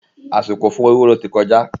Àsìkò fún ewúro ti kọjá